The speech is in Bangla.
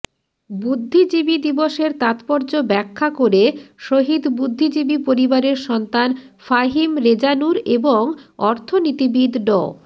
বুদ্ধিজীবী দিবসের তাৎপর্য ব্যাখ্যা করে শহীদ বুদ্ধিজীবী পরিবারের সন্তান ফাহিম রেজা নূর এবং অর্থনীতিবিদ ড